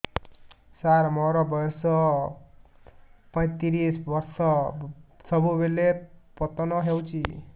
ସାର ମୋର ବୟସ ପୈତିରିଶ ବର୍ଷ ସବୁବେଳେ ପତନ ହେଉଛି